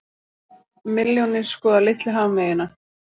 Milljónir skoða litlu hafmeyjuna